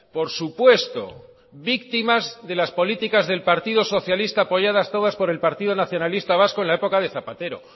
por supuesto víctimas de las políticas del partido socialistas apoyadas todas por el partido nacionalista vasco en la época de zapatero